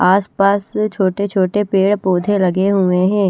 आस पास छोटे छोटे पेड़ पौधे लगे हुए है।